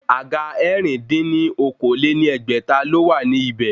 Àga ẹ̀rin dín ní okòó-lé-ní-ẹgbẹ́ta ló wà ní ibẹ̀